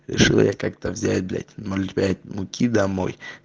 решил я как-то взять блять ноль пять муки домой